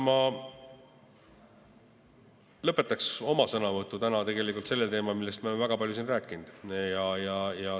Ma lõpetaksin oma sõnavõtu sellel teemal, millest me oleme siin täna väga palju rääkinud.